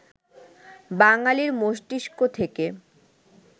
বাঙালির মস্তিষ্ক থেকে